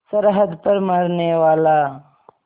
सरहद पर मरनेवाला